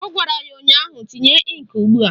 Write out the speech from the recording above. Ọ gwara ya ụnyaahụ "Tinye ịnkị ugbua"!